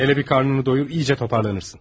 Hələ bir qarnını doyur, yaxşıca toparlanarsan.